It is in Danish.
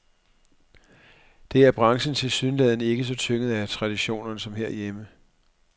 Der er branchen tilsyneladende ikke så tynget af traditionerne som herhjemme.